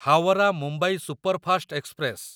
Howrah Mumbai superfast express